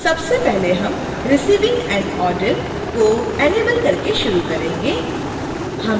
सबसे पहले हम receiving an order को इनेबल करके शुरू करेंगे